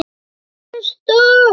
LÁRUS: Þögn!